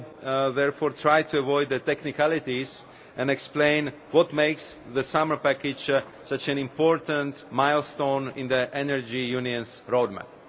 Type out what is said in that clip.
will therefore try to avoid technicalities and explain what makes the summer package such an important milestone in the Energy Union's roadmap.